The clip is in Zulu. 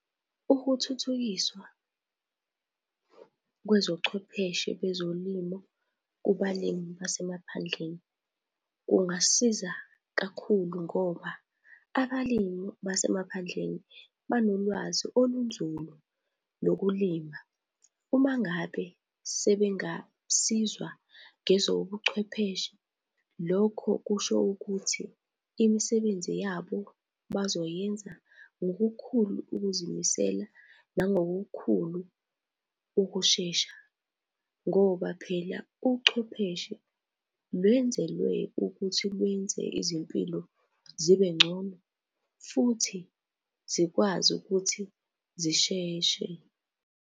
Ukuthuthukiswa kwezochwepheshe bezolimo kubalimi basemaphandleni kungasiza kakhulu ngoba abalimi basemaphandleni banolwazi olunzulu lokulima. Uma ngabe sebengasizwa ngezobuchwepheshe, lokho kusho ukuthi imisebenzi yabo bazoyenza ngokukhulu ukuzimisela nangokukhulu ukushesha. Ngoba phela uchwepheshe lwenzelwe ukuthi lwenze izimpilo zibe ngcono futhi zikwazi ukuthi zisheshe.